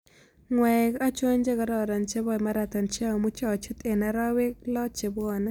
Ng'waek achon che kararan chebo marathon che amuche achut eng' arawek loo che bwane